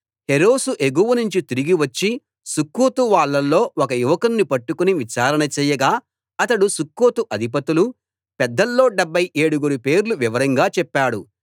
హెరెసు ఎగువనుంచి తిరిగి వచ్చి సుక్కోతు వాళ్ళలో ఒక యువకుణ్ణి పట్టుకుని విచారణ చేయగా అతడు సుక్కోతు అధిపతులు పెద్దల్లో డెబ్భై ఏడుగురి పేర్లు వివరంగా చెప్పాడు